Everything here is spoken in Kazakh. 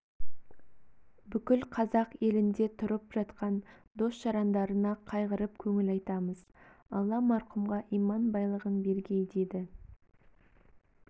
бүткіл қазақ елінде тұрып жатқан дос-жарандарына қайғырып көңіл айтамыз алла марқұмға иман байлығын бергей деді